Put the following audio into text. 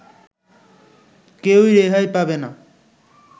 কেউই রেহাই পাবে না